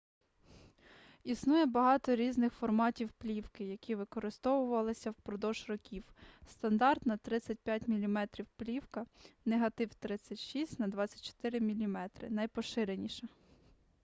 існує багато різних форматів плівки які використовувалися впродовж років. стандартна 35 мм плівка негатив 36 на 24 мм найпоширеніша